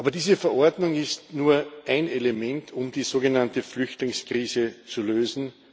Diese Verordnung ist aber nur ein Element, um die sogenannte Flüchtlingskrise zu lösen.